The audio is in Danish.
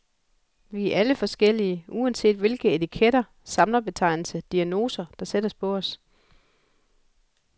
Vi er alle forskellige, uanset hvilke etiketter, samlebetegnelser, diagnoser, der sættes på os.